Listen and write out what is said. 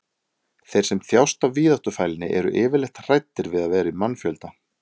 þeir sem þjást af víðáttufælni eru yfirleitt hræddir við að vera í mannfjölda